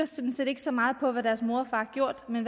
sådan set ikke så meget kigger på hvad deres mor og far har gjort men